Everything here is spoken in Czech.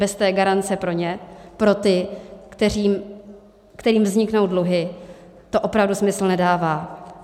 Bez té garance pro ně, pro ty, kterým vzniknou dluhy, to opravdu smysl nedává.